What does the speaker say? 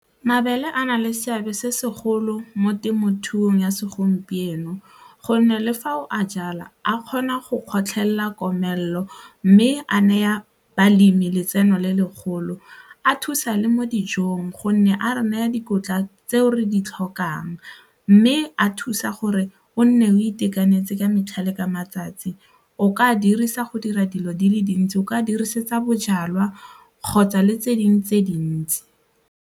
Mabele a na le seabe se segolo mo temothuong ya segompieno gonne le fa o a jala a kgona go kgotlhela komelelo mme a neya balemi letseno le le golo, a thusa le mo dijong gonne a re naya dikotla tse re di tlhokang mme a thusa gore o nne o itekanetse ka metlha le ka matsatsi, o ka dirisa go dira dilo di le dintsi, o ka dirisetsa bojalwa kgotsa le tse dingwe tse dintsi.